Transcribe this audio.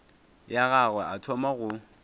ya gagwe a thoma go